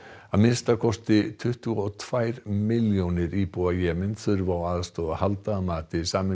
að minnsta kosti tuttugu og tvær milljónir íbúa Jemen þurfa á aðstoð að halda að mati Sameinuðu